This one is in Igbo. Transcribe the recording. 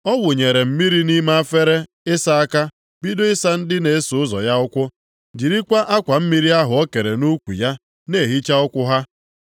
Ọ wụnyere mmiri nʼime efere ịsa aka, bido ịsa ndị na-eso ụzọ ya ụkwụ, jirikwa akwa mmiri ahụ o kere nʼukwu ya na-ehicha ụkwụ ha.